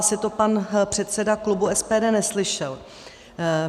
Asi to pan předseda klubu SPD neslyšel.